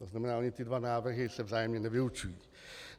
To znamená, ony ty dva návrhy se vzájemně nevylučují.